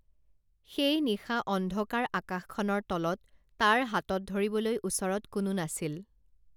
সেই নিশা অন্ধকাৰ আকাশখনৰ তলত তাৰ হাতত ধৰিবলৈ ওচৰত কোনো নাছিল